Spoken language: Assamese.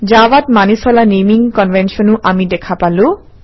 জাভাত মানি চলা নেমিং কনভেনশ্যনো আমি দেখা পালো